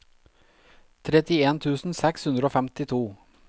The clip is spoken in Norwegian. trettien tusen seks hundre og femtito